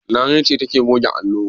Larai ce take goge allo.